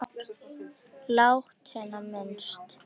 Látinna minnst.